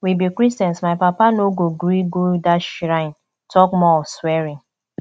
we be christians my papa no go gree go dat shrine talk more of swearing